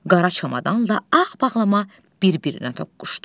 Qara çamadanla ağ bağlama bir-birinə toqquşdu.